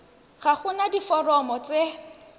ga go na diforomo tse